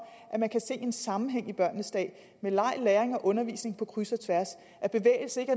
at man kan se en sammenhæng i børnenes dag med leg læring og undervisning på kryds og tværs og at bevægelse ikke